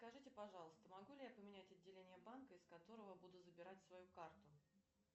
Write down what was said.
скажите пожалуйста могу ли я поменять отделение банка из которого буду забирать свою карту